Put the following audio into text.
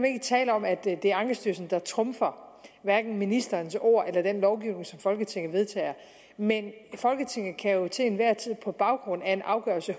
ikke tale om at det er ankestyrelsen der trumfer hverken ministerens ord eller den lovgivning som folketinget vedtager men folketinget kan jo til enhver tid på baggrund af en afgørelse